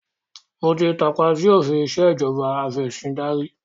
Mo ti tàpá sì òfin ìsèjọba afẹ̀sindarí